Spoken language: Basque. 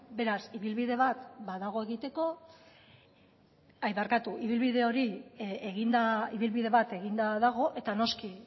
beraz ibilbide bat eginda dago eta noski